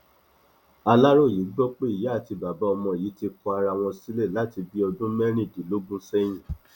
aláròye gbọ pé ìyá àti bàbá ọmọ yìí ti kọ ara wọn sílẹ láti bíi ọdún mẹrìndínlógún sẹyìn